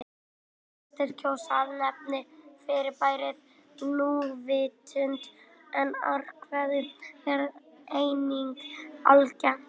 Flestir kjósa að nefna fyrirbærið núvitund en árvekni er einnig algengt.